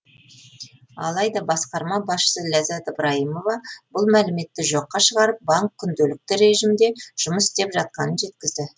алайда басқарма басшысы ләззат ыбрайымова бұл мәліметті жоққа шығарып банк күнделікті режимде жұмыс істеп жатқанын жеткізді